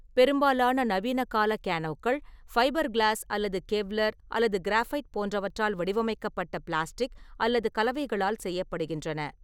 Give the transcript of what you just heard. பெரும்பாலான நவீனகால கேனோக்கள் ஃபைபர் கிளாஸ் அல்லது கெவ்லர் அல்லது கிராஃபைட் போன்றவற்றால் வடிவமைக்கப்பட்ட பிளாஸ்டிக் அல்லது கலவைகளால் செய்யப்படுகின்றன.